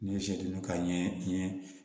N'i ye ka ɲɛ